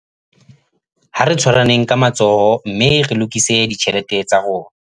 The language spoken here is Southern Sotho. Ha re tshwaraneng ka matsoho mme re lokise ditjhelete tsa rona